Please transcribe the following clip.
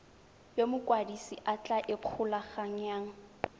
yo mokwadise a tla ikgolaganyang